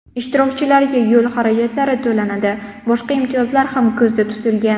Ishtirokchilarga yo‘l xarajatlari to‘lanadi, boshqa imtiyozlar ham ko‘zda tutilgan.